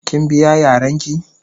Kin biya Yaran ki?.